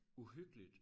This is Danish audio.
Uhyggeligt